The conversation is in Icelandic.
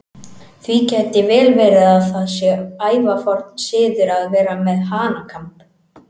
Því gæti vel verið að það sé ævaforn siður að vera með hanakamb.